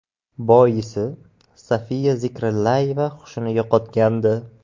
Boisi Sofiya Zikrillayeva hushini yo‘qotgandi.